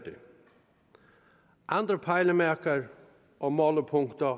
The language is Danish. andre pejlemærker og målepunkter